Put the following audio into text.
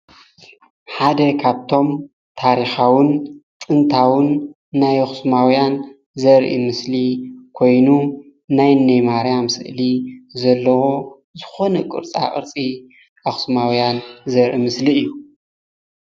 ሓደ ካብቶም ታሪካውን ጥንታውን ናይ ኣክሱማውያን ዘርኢ ምስሊ ኮይኑ ናይ እነይ ማርያም ስእሊ ዘለዎ ዝኮነ ቅርፃቅርፂ አክሱማውያን ዘርኢ ምስሊ እዩ፡፡